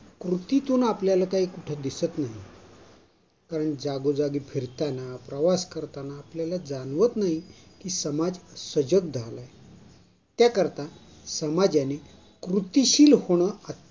कृतीतून आपल्याला कुठे काही दिसत नाही. कारण जागोजागी फिरताना प्रवास करताना आपल्याला जाणवत नाही, समाज सजग झालाय. त्याकरता समाजाने कृतीशील होणे